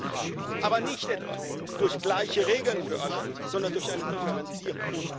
haben, aber nicht etwa durch gleiche Regeln für alle, sondern durch eine Differenzierung.